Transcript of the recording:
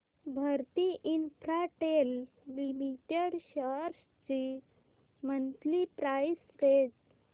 Bharti Infratel limited shares ची monthly price range